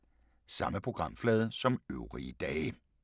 Samme programflade som øvrige dage